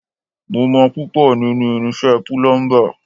Mo mọ púpọ̀ nínú irinṣẹ́ púlúḿbà